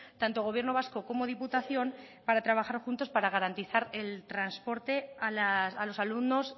tanto gobierno vasco como diputación para trabajar juntos para garantizar el transporte a los alumnos